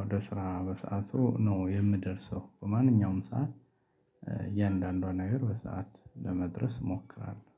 ወደ ስራ በሰአቱ ነው የምደርሰው በማንኛውም ሰዓት። እያንዳንዷን ነገር በሰአት ለመድረስ እሞክራለሁ።